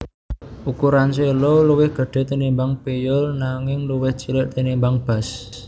Ukuran cello luwih gedhe tinimbang piyul nangingluwih cilik tinimbang bas